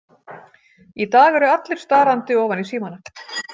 Í dag eru allir starandi ofan í símana.